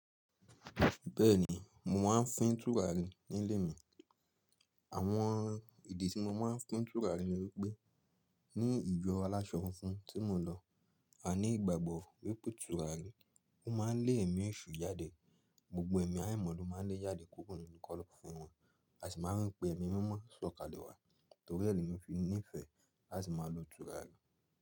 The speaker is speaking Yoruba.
Bẹ́ẹ̀ni, mo máa ń fín tùràrí nílé mi. Àwọn ìdí tí mo máa ń fín tùràrí ni wípé, ní ìjọ aláṣọ funfun tí mo lọ, a ní ìgbàgbọ́ wípé tùràrí máa ń lé ẹ̀mí èṣù jáde. Gbogbo ẹ̀mí àìmọ̀ lo máa ń lé jáde kuro nínu kọ́lọ́fín wọn. A sì máa ń pé ẹ̀mí mímọ́ sọ̀kalẹ̀ wá torí ní lemi fi nìfẹ́. Lati máa lo tùràrí.